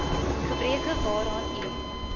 gebreke waaraan u